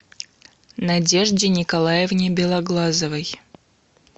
надежде николаевне белоглазовой